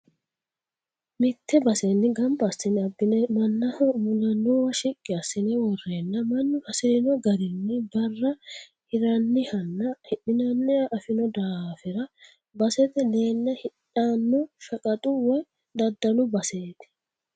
Mite basenni gamba assine abbine mannaho mulanowa shiqqi assine worenna mannu hasirino garinni barra hiranihanna hidhinanniha afino daafira basete leele hidhano shaqatu woyi daddalu baseti.